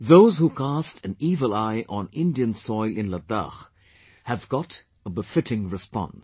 Those who cast an evil eye on Indian soil in Ladakh have got a befitting response